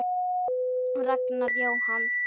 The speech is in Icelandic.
Ragnar Jóhann.